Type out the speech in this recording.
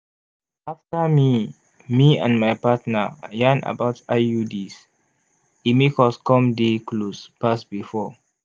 after me me and my partner yarn about iuds e make us come dey close pass before.